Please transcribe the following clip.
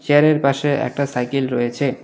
চেয়ারের পাশে একটা সাইকেল রয়েছে।